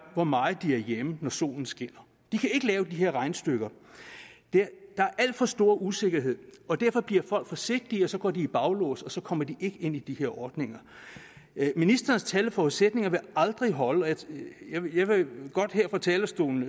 hvor meget de er hjemme når solen skinner de kan ikke lave de her regnestykker der er alt for stor usikkerhed og derfor bliver folk forsigtige og så går de i baglås og så kommer de ikke ind i de her ordninger ministerens tal og forudsætninger vil aldrig holde jeg vil godt her fra talerstolen